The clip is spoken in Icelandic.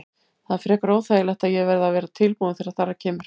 Það er frekar óþægilegt en ég verð að vera tilbúinn þegar þar að kemur.